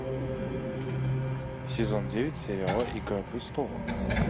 сезон девять сериала игра престолов